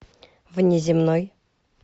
внеземной